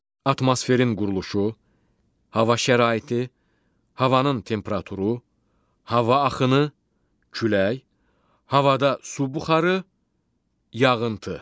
Atmosferin quruluşu, hava şəraiti, havanın temperaturu, hava axını, külək, havada su buxarı, yağıntı.